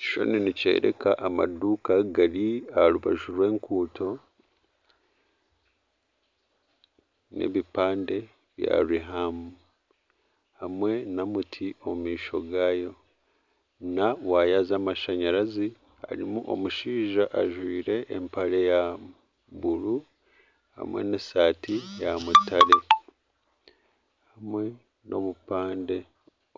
Ekishushani nikyereka amaduuka aha rubaju rw'enguuto n'ebipande bya Rihamu hamwe n'omuti omu maisho gaago na waaya z'amashanyarazi. Harimu omushaija ajwire empare ya buru hamwe n'esaati ya mutare hamwe n'obupande